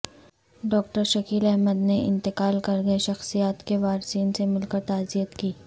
doctor Shakeel Ahmed نے انتقال کر گئے شخصیات کے وارثین سے مل کر تعزیت کی